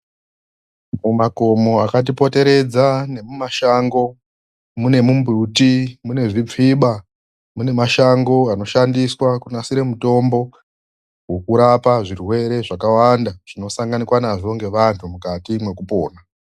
Mumakomo akatipoteredza nemumashango, mune mumbiti ,munezvitsviba munemasango anoshandiswa kunasira mitombo wokurapa zvirwere zvakawanda zvinosanganikwa nazvo ngevantu mukati mwekupona.